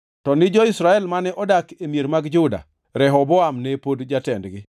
To ni jo-Israel mane odak e mier mag Juda, Rehoboam ne pod jatendgi.